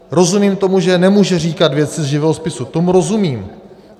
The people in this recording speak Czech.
Rozumím tomu, že nemůže říkat věci z živého spisu, tomu rozumím.